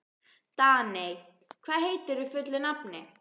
Daney, hvað heitir þú fullu nafni?